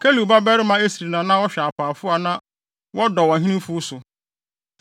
Kelub babarima Esri na na ɔhwɛ apaafo a na wɔdɔw ɔhene mfuw so.